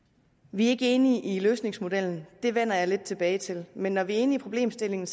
vi er ikke enige i løsningsmodellen det vender jeg lidt tilbage til men når vi er enige i problemstillingen